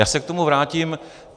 Já se k tomu vrátím.